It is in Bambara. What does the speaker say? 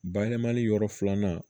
Bayɛlɛmani yɔrɔ filanan